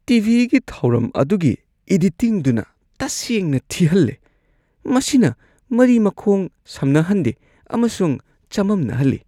ꯇꯤ.ꯚꯤ.ꯒꯤ ꯊꯧꯔꯝ ꯑꯗꯨꯒꯤ ꯢꯗꯤꯇꯤꯡꯗꯨꯅ ꯇꯁꯦꯡꯅ ꯊꯤꯍꯜꯂꯦ꯫ ꯃꯁꯤꯅ ꯃꯔꯤ ꯃꯈꯣꯡ ꯁꯝꯅꯍꯟꯗꯦ ꯑꯃꯁꯨꯡ ꯆꯃꯝꯅꯍꯜꯂꯤ ꯫